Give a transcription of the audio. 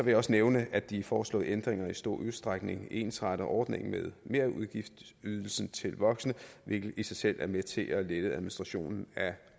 jeg også nævne at de foreslåede ændringer i stor udstrækning ensretter ordningen med merudgiftsydelsen til voksne hvilket i sig selv er med til at lette administrationen af